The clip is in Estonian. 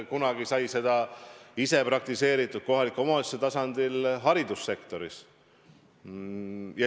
Kunagi sai seda ise praktiseeritud kohaliku omavalitsuse tasandil haridussektoris.